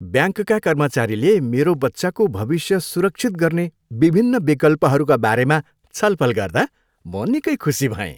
ब्याङ्कका कर्मचारीले मेरो बच्चाको भविष्य सुरक्षित गर्ने विभिन्न विकल्पहरूका बारे छलफल गर्दा म निकै खुसी भएँ।